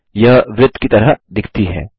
यह वृत्त की तरह दिखती है